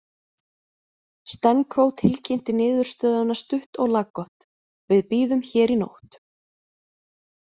Stenko tilkynnti niðurstöðuna stutt og laggott: „Við bíðum hér í nótt“